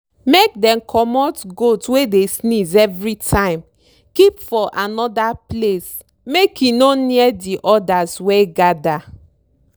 make dem comot goat wey dey sneeze everytime keep for anoda place make e no near di odas wey gather.